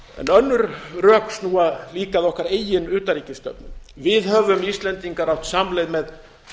önnur rök snúa líka að okkar eigin utanríkisstefnu við höfum íslendingar átt samleið með